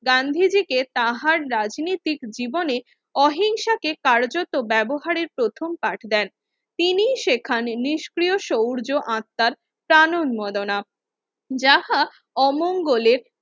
গান্ধীজিকে তাঁহার রাজনৈতিক জীবনে অহিংসাকে কারুচতো ব্যবহারের প্রথম পাঠ দেন তিনি সেখানে নিষ্ক্রিয় সূর্য আত্মার প্রাণ উম্মেদনা যাঁহা অমঙ্গলে